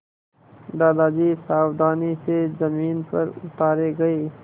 दादाजी सावधानी से ज़मीन पर उतारे गए